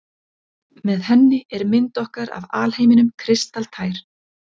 Með henni er mynd okkar af alheiminum kristaltær.